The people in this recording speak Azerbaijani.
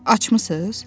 Açmısız?